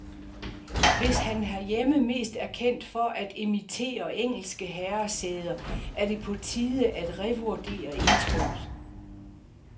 Hvis han herhjemme mest er kendt for at imitere engelske herresæder, er det på tide at revurdere indtrykket.